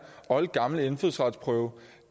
oldgamle indfødsretsprøve